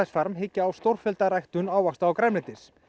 farm hyggja á stórfellda ræktun ávaxta og grænmetis